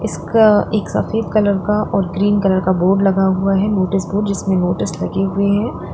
एक एक सफेद कलर का और ग्रीन कलर का बोर्ड लगा हुआ है नोटिस बोर्ड जिसमें नोटिस लगे हुए हैं।